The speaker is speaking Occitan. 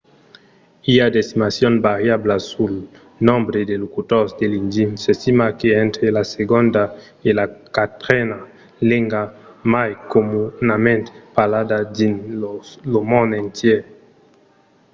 i a d'estimacions variablas sul nombre de locutors de l'indi. s'estima qu'es entre la segonda e la quatrena lenga mai comunament parlada dins lo mond entièr